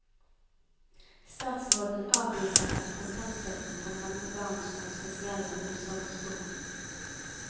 Statsråden avviser at kontantstøtten kan ramme barn som har spesielle omsorgsbehov.